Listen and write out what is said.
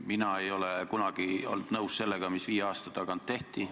Mina ei ole kunagi olnud nõus sellega, mis viis aastat tagasi tehti.